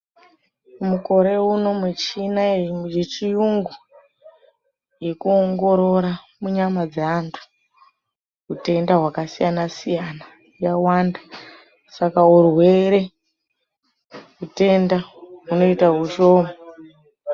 Mukore uno muchina yechiyungu yekuongorora munyama dzaantu utenda hwakasiyana siyana yawanda saka urwere utenda hunoita hushoma.